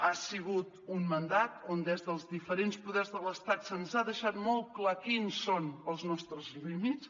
ha sigut un mandat on des dels diferents poders de l’estat se’ns ha deixat molt clar quins són els nostres límits